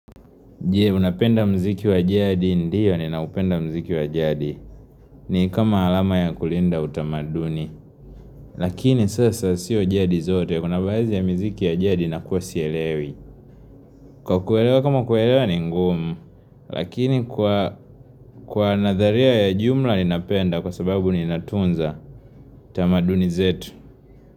Je, unapenda muziki wa jadi? Ndiyo ninaupenda muziki wa jadi ni kama alama ya kulinda utamaduni Lakini sasa sio jadi zote kuna baadhi ya miziki ya jadi nakuwa sielewi. Kwa kuelewa kama kuelewa ni ngumu Lakini kwa nadharia ya jumla ninapenda kwa sababu ninatunza tamaduni zetu.